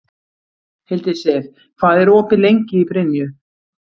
Hildisif, hvað er opið lengi í Brynju?